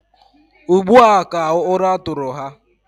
Ugbu a ka ụra tụrụ ha.